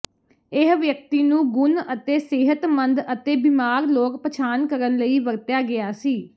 ਇਹ ਵਿਅਕਤੀ ਨੂੰ ਗੁਣ ਅਤੇ ਸਿਹਤਮੰਦ ਅਤੇ ਬਿਮਾਰ ਲੋਕ ਪਛਾਣ ਕਰਨ ਲਈ ਵਰਤਿਆ ਗਿਆ ਸੀ